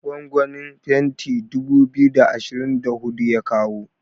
gwangwanin fenti dubu biyu da ashirin da hudu ya kawo